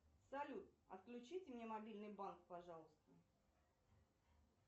салют отключите мне мобильный банк пожалуйста